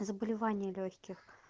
заболевание лёгких